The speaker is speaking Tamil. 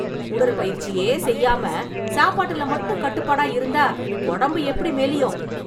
உடற்பயிற்சியே செய்யாம, சாப்பாட்டுல மட்டும் கட்டுப்பாடா இருந்தா, ஒடம்பு எப்டி மெலியும்...